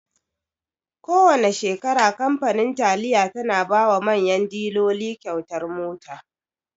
Kowana shekara kamfanin taliya tana bawa manyan diloli kyautar mota.